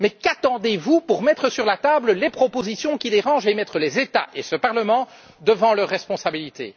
Mais qu'attendez vous pour mettre sur la table les propositions qui dérangent et mettre les États et ce Parlement devant leurs responsabilités?